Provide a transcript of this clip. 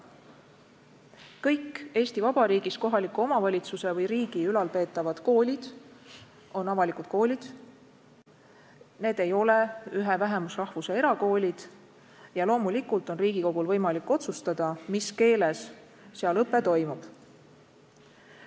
Kõik Eesti Vabariigis kohaliku omavalitsuse või riigi ülalpeetavad koolid on avalikud koolid, need ei ole ühe vähemusrahvuse erakoolid ja loomulikult on Riigikogul võimalik otsustada, mis keeles seal õpe toimub.